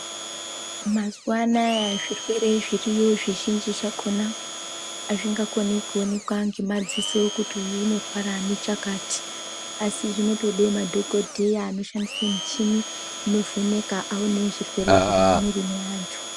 Mazuwa anaya zvirwere zviriyo zvizhinji zvakhona azvingakoni kuoneka ngemadziso kuti uyu unorwara nechakati asi zvinotode madhokodheya anoshandise muchini inovheneka aone zviri mumwiri mweantu.